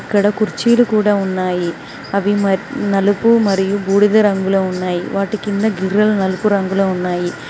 కుర్చీలు కూడా ఉన్నాయి అవి నలుపు మరియు బూడిద రంగులో ఉన్నాయి వాటి కింద గిర్రలు నలుపు రంగులో ఉన్నాయి.